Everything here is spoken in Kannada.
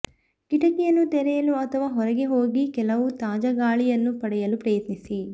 ಕಿಟಕಿಯನ್ನು ತೆರೆಯಲು ಅಥವಾ ಹೊರಗೆ ಹೋಗಿ ಕೆಲವು ತಾಜಾ ಗಾಳಿಯನ್ನು ಪಡೆಯಲು ಪ್ರಯತ್ನಿಸಿ